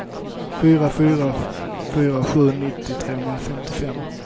fyra fyra fyra sju nittio trehundrafemtiofem